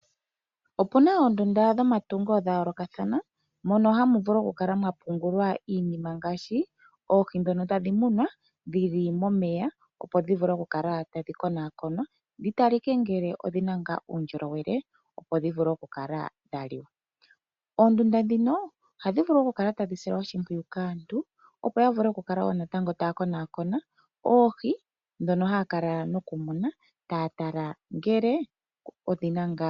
Opuna oonduna dhomatungo dha yoolokathana, mono hamu vulu oku kala mwa pungulwa iinima ngaashi: oohi ndhono tadhi munwa, dhili momeya opo dhivule oku kala tadhi konwaakonwa, dhi talike ngele odhina ngaa uundjolowele, opo dhivule oku li wa. Oondunda ndhino ohadhi kala dha silwa oshimpwiyu kaantu, opo yavule oku kala ta ya konaakona oohi ndhono ha ya kala ta ya munu.